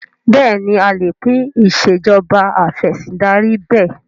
Bẹ́ẹ̀ni a lè pín Ìṣèjọba Af'ẹ̀sìndarí bẹ́ẹ̀